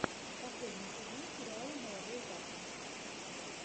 последний сезон сериала молодой папа